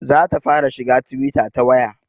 Za ta fara shiga twitter ta waya